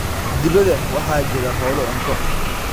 Dibadda waxaa jira hawlo cunto.